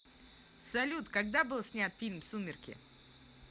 салют когда был снят фильм сумерки